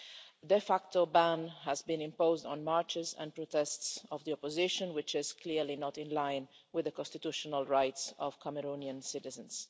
A de facto ban has been imposed on marches and protests of the opposition, which is clearly not in line with the constitutional rights of Cameroonian citizens.